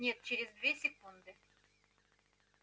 нет через две секунды